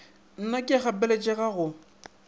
na ke a gapeletšega go